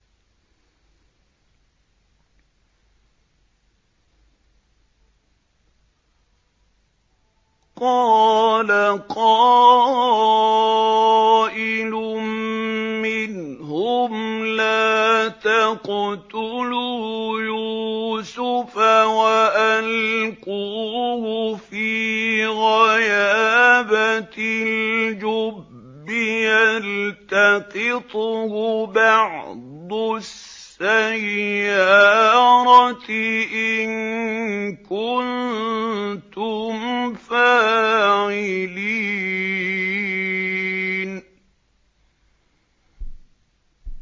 قَالَ قَائِلٌ مِّنْهُمْ لَا تَقْتُلُوا يُوسُفَ وَأَلْقُوهُ فِي غَيَابَتِ الْجُبِّ يَلْتَقِطْهُ بَعْضُ السَّيَّارَةِ إِن كُنتُمْ فَاعِلِينَ